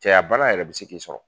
Cɛyabana yɛrɛ be se k'i sɔrɔ